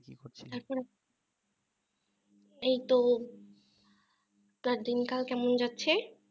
এই তো তা দিনকাল কেমন যাচ্ছে